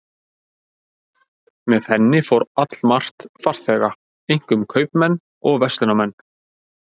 Með henni fór allmargt farþega, einkum kaupmenn og verslunarmenn